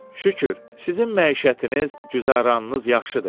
Şükür, sizin məişətiniz, güzəranınız yaxşıdır.